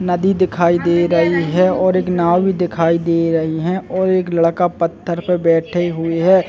नदी दिखाई दे रही है और एक नांव भी दिखाई दे रही है और एक लड़का पत्थर पे बैठे हुए हैं ।